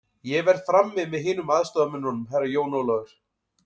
Ég verð frammi með hinum aðstoðarmönnunum, Herra Jón Ólafur.